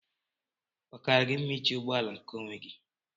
Ọ Kara gị mma iji ụgbọ ala nkeonwe gi?